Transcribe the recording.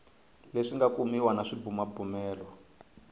leswi nga kumiwa na swibumabumelo